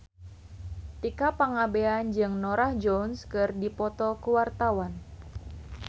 Tika Pangabean jeung Norah Jones keur dipoto ku wartawan